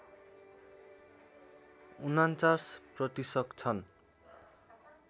४९ प्रतिशत छन्